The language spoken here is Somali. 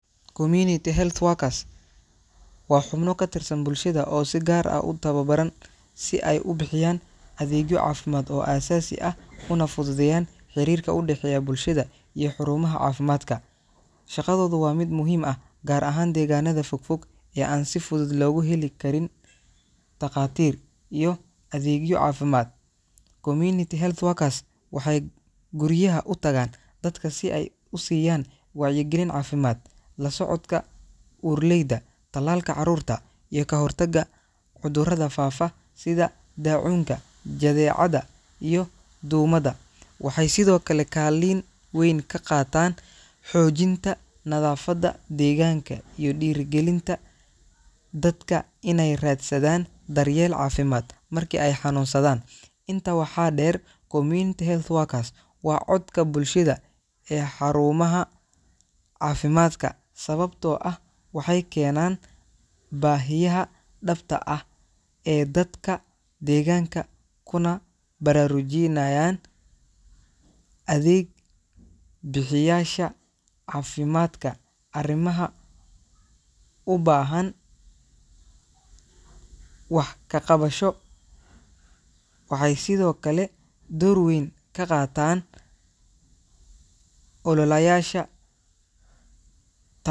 Community health workers waa xubno ka tirsan bulshada oo si gaar ah u tababaran si ay u bixiyaan adeegyo caafimaad oo aasaasi ah una fududeeyaan xiriirka u dhexeeya bulshada iyo xarumaha caafimaadka. Shaqadoodu waa mid muhiim ah, gaar ahaan deegaanada fogfog ee aan si fudud loogu helin dhakhaatiir iyo adeegyo caafimaad. Community health workers waxay guryaha u tagaan dadka si ay u siiyaan wacyigelin caafimaad, la socodka uurleyda, tallaalka carruurta, iyo ka hortagga cudurrada faafa sida daacuunka, jadeecada iyo duumada. Waxay sidoo kale kaalin weyn ka qaataan xoojinta nadaafadda deegaanka iyo dhiirrigelinta dadka inay raadsadaan daryeel caafimaad markii ay xanuunsadaan. Intaa waxaa dheer, community health workers waa codka bulshada ee xarumaha caafimaadka, sababtoo ah waxay keenaan baahiyaha dhabta ah ee dadka deegaanka kuna baraarujinayaan adeeg bixiyeyaasha caafimaadka arrimaha u baahan wax ka qabasho. Waxay sidoo kale door weyn ka qaataan ololayaasha ta.